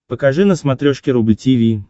покажи на смотрешке рубль ти ви